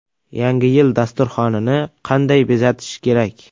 Yangi yil dasturxonini qanday bezatish kerak?.